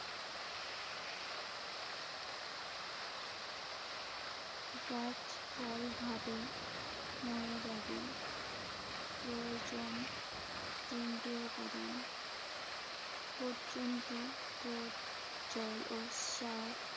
গাছ ফলভারে নুয়ে যাবে। প্রয়োজন তিনটি উপাদান। পর্যাপ্ত রোদ, জল ও সার।